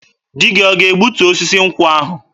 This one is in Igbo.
Di gị ọ ga-egbutu osisi nkwụ ahụ?